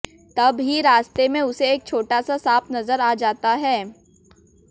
तब ही रास्ते में उसे एक छोटा सा सांप नजर आ जाता है